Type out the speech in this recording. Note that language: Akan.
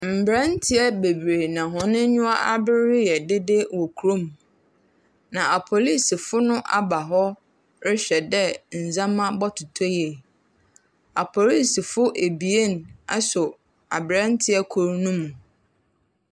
Mbranteɛ bebree na wɔn anyiwa aber reyɛ dede wɔ kurom. Na apolicefo no aba hɔ rehwɛ dɛ ndzama bɔtotɔ yie. Apolicefo abien asɔ abrante kor no mu.